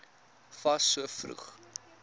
fas so vroeg